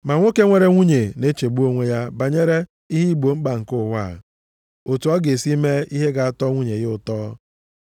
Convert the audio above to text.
Ma nwoke nwere nwunye na-echegbu onwe ya banyere ihe igbo mkpa nke ụwa a, otu ọ ga-esi mee ihe ga-atọ nwunye ya ụtọ.